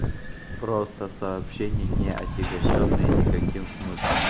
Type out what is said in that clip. просто сообщение не отягощённые никаким смыслом